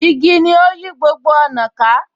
Igi ni ó yí gbogbo ọ̀nà ká.